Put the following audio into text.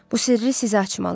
Bu sirri sizə açmalıyam.